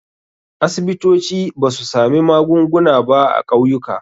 Asibitoci ba su sami magunguna ba a ƙauyuka.